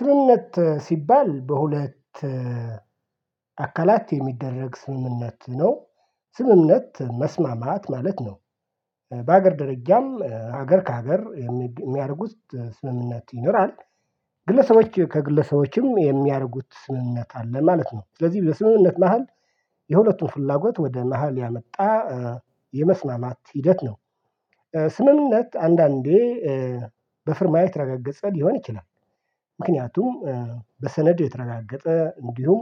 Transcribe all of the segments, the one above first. ስምምነት ሲባል በሁለት አካላት የሚደረግ ስምምነት ነው። ስምምነት መስማማት ማለት ነው። በአሀገር ደረጃም ሀገር ካገር የሚያደርጉት ስምምነት ይኖራል። ግለሰቦች ከግለሰቦችም የሚያደርጉት ስምምነት አለ ማለት ነው። ስለዚህ በስምምነት መሃል የሁለቱም ፍላጎት ወደ መሃል ያመጣ የመስማማት ሂደት ነው። ስምምነት አንዳንዴ ኧ በፊርማ የተረጋገፀ ሊሆን ይችላል። ምክንያቱም በሰነድ የተረጋገጠ እንዲሁም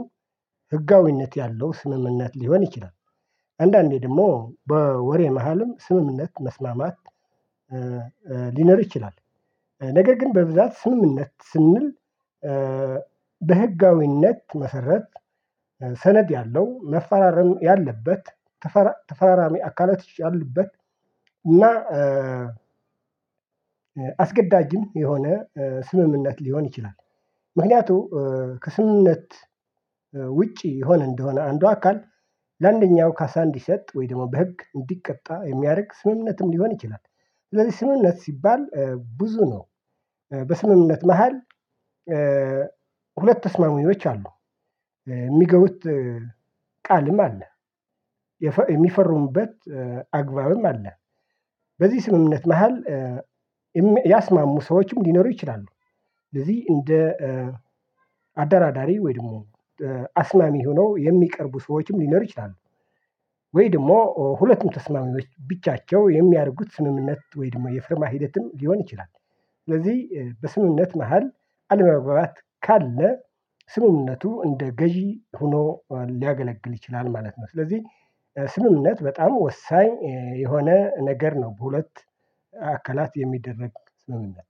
ህጋዊነት ያለው ስምምነት ሊሆን ይችላል። አንዳንዴ ደግሞ በወሬ መሃልም ስምምነት መስማማት ሊኖር ይችላል። ነገር ግን በብዛት ስምምነት ስንል በህጋዊነት መሰረት ሰነድ ያለው መፈራረም ያለበት ተፈራራሚ አካላቶች ያሉበት እና አስገዳጅም የሆነ ስምምነት ሊሆን ይችላል። ምክንያቱ ከስምምነት ውጪ የሆነ እንደሆነ አንዱ አካል ለአንደኛው ካሳ እንዲሰጥ ወይ ደግሞ በህግ እንዲቀጣ የሚያደርግ ስምምነትም ሊሆን ይችላል። ስለዚህ ስምምነት ሲባል ብዙ ነው በስምምነት መሃል ሁለት ተስማሚዎች አሉ የሚገቡት ቃልም አለ የሚፈርሙበት አግባብም አለ። በዚህ ስምምነት መሃል ያስማሙ ሰዎችም ሊኖሩ ይችላሉ ስለዚህ እንደ አደራዳሪ ወይ ደግሞ አስማሚ ሆኖ የሚቀርቡ ሰዎችም ሊኖሩ ይችላሉ። ወይ ደግሞ ሁለቱም ተስማሚዎች ብቻቸው የሚያደርጉት ስምምነት ወይ ደግሞ የፊርማ ሂደትም ሊሆን ይችላል። ስለዚህ በስምምነት መሃል አለመባባት ካለ ስምምነቱ እንደ ገዢ ሆኖ ሊያገለግል ይችላል ማለት ነው። ስለዚህ ስምምነት በጣም ወሳኝ የሆነ ነገር ነው። በሁለት አካላት የሚደረግ ስምምነት